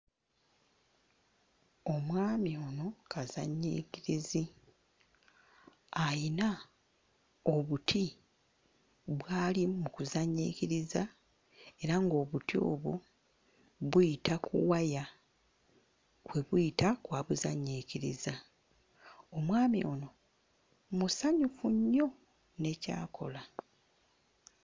Omwami ono kazannyiikirizi. Ayina obuti bw'ali mu kuzannyiikiriza era ng'obuti obwo buyita ku waya kwe buyita kw'abuzannyiikiriza. Omwami ono musanyufu nnyo ne ky'akola.